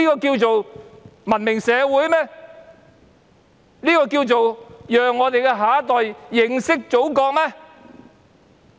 《條例草案》能讓我們的下一代更認識祖國嗎？